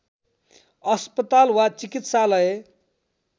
अस्पताल वा चिकित्सालय